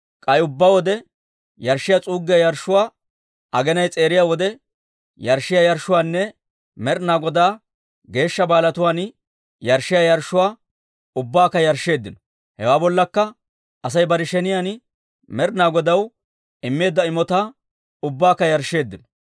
K'ay ubbaa wode yarshshiyaa s'uuggiyaa yarshshuwaa, aginay s'eeriya wode yarshshiyaa yarshshuwaanne Med'inaa Godaa geeshsha baalatuwaan yarshshiyaa yarshshuwaa ubbaakka yarshsheeddino. Hewaa bollakka Asay bare sheniyaan Med'inaa Godaw immeedda imotaa ubbaakka yarshsheeddino.